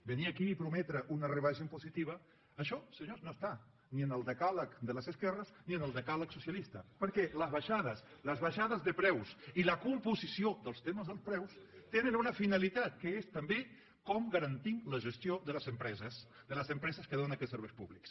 venir aquí a prometre una rebaixa impositiva això senyors no està ni en el decàleg de les esquerres ni en el decàleg socialista perquè les baixades de preus i la composició dels temes dels preus tenen una finalitat que és també com garantim la gestió de les empreses de les empreses que donen aquests serveis públics